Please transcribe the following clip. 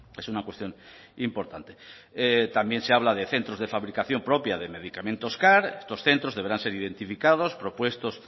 es una cuestión importante también se habla de centros de fabricación propia de medicamentos car estos centros deberán ser identificados propuestos